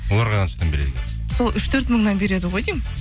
оларға қаншадан берді екен сол үш төрт мыңнан береді ғой деймін